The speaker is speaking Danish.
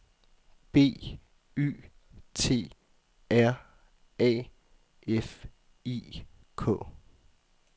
B Y T R A F I K